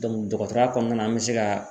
dɔgɔtɔrɔya kɔnɔna na an bɛ se ka